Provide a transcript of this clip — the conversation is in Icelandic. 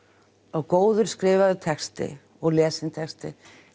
og góður skrifaður texti og lesinn texti